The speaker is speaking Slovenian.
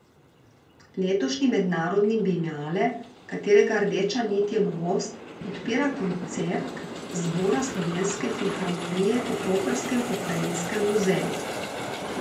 Letošnji mednarodni bienale, katerega rdeča nit je norost, odpira koncert zbora Slovenske filharmonije v koprskem pokrajinskem muzeju.